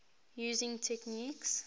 using techniques